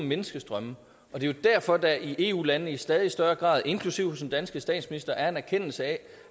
menneskestrømme og det er derfor at der i eu landene i stadig større grad inklusive hos den danske statsminister er en erkendelse af